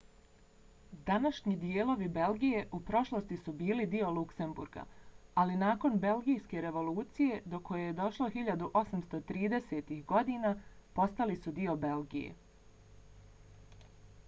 današnji dijelovi belgije u prošlosti su bili dio luksemburga ali nakon belgijske revolucije do koje je došlo 1830-ih godina postali su dio belgije